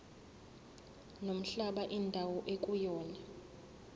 nomhlaba indawo ekuyona